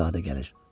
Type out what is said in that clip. Şahzadə gəlir.